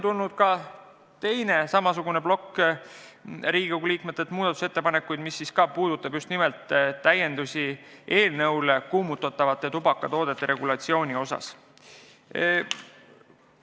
Üks plokk Riigikogu liikmete muudatusettepanekuid puudutab kuumutatavate tubakatoodete regulatsiooni täiendamist.